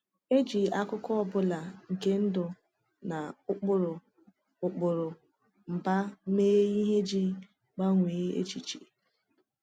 E ji akụkọ ọ bụla nke ndụ na ụkpụrụ ụkpụrụ mba mee ihe iji gbanwee èchìchè.